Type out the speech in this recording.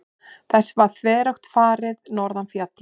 Þessu var þveröfugt farið norðan fjalla.